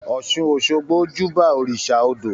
Ọ́sun-òṣogbo júbà òrìṣà odò